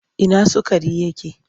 Ina sukari yake?